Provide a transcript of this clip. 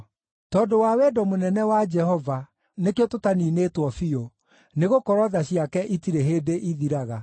Tondũ wa wendo mũnene wa Jehova, nĩkĩo tũtaniinĩtwo biũ, nĩgũkorwo tha ciake itirĩ hĩndĩ ithiraga.